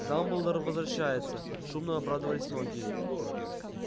дамблдор возвращается шумно обрадовались многие